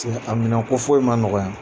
a minɛn ko foyi ma nɔgɔn yan.